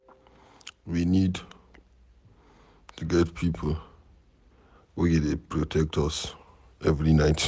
We need to get people wey go dey protect us every night